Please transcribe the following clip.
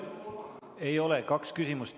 Ei ole, kaks küsimust.